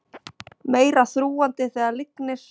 Meira þrúgandi þegar lygnir